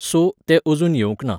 So, तें अजून येवंक ना.